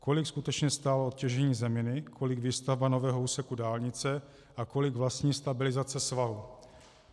Kolik skutečně stálo těžení zeminy, kolik výstavba nového úseku dálnice a kolik vlastní stabilizace svahu?